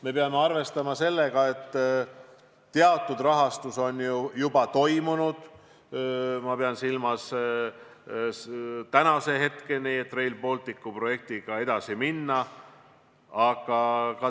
Me peame arvestama ka seda, et teatud rahastamine on tänaseks juba toimunud.